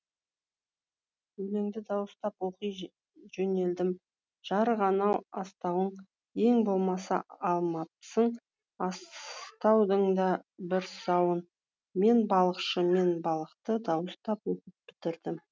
өлеңді дауыстап оқи жөнелдім жарық анау астауың ең болмаса алмапсың астаудың да бір сауын мен балықшы мен балықты дауыстап оқып бітірдім